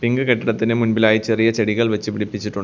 pink കെട്ടിടത്തിന്റെ മുൻപിലായി ചെറിയ ചെടികൾ വെച്ച് പിടിപ്പിച്ചിട്ടു --